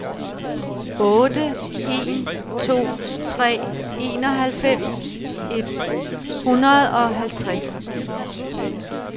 otte en to tre enoghalvfems et hundrede og halvtreds